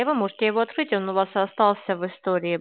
и вы можете его открыть он у вас остался в истории